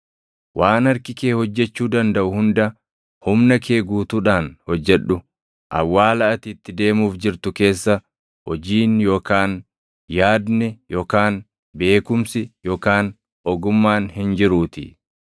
Waan harki kee hojjechuu dandaʼu hunda humna kee guutuudhaan hojjedhu; awwaala ati itti deemuuf jirtu keessa hojiin yookaan yaadni yookaan beekumsi yookaan ogummaan hin jiruutii.